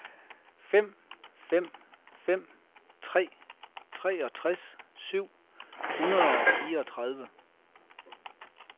fem fem fem tre treogtres syv hundrede og fireogtredive